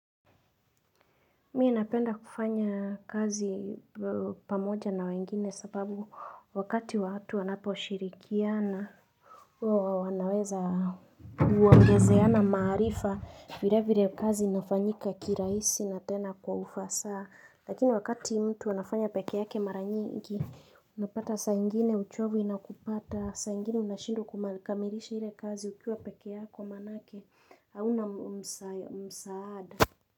Mimi napenda kufanya kazi pamoja na wengine sababu wakati watu wanapo shirikiana wanaweza kuongezeana maarifa vile vile kazi inafanyika kirahisi na tena kwa ufasaa. Lakini wakati mtu anafanya pekee yake mara nyingi unapata saa ingine uchovu inakupata saa ingine unashindwa kumakamilisha ile kazi ukiwa pekee yako manake hauna msaada.